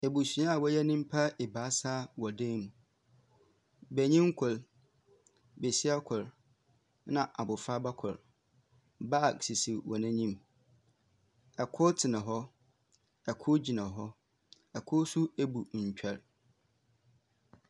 Ebusua a wɔyɛ nyimpa ebaasa wɔ dan mu. Benyin kor, besia kor, na abofraba kor. Bag sisi hɔn enyim. Kor tsena hɔ kor gyina hɔ. Kor nso ebu ntwɛr.